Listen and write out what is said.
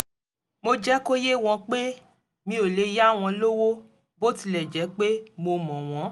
mo jẹ́ kó yé wọn pé mi ò lè yá wọn lówó bó tilẹ̀ jẹ́ pé mo mọ̀ wọ́n